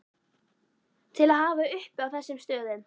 til að hafa uppi á þessum stöðum.